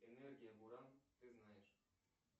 энергия буран ты знаешь